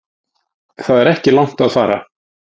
Það er ekki langt að fara.